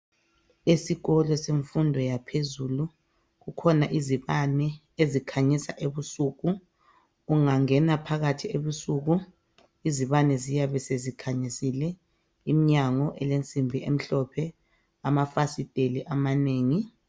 Esikolo semfundo yaphezulu kukhona izibane ezikhanyisa ebusuku. Ungangena phakathi ebusuku izibane ziyabe sezikhanyisile. Imnyango ilensimbi emhlophe, amafasiteli amanengi.